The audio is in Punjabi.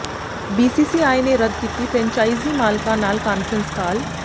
ਬੀਸੀਸੀਆਈ ਨੇ ਰੱਦ ਕੀਤੀ ਫਰੈਂਚਾਈਜ਼ੀ ਮਾਲਕਾਂ ਨਾਲ ਕਾਨਫਰੰਸ ਕਾਲ